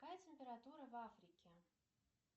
какая температура в африке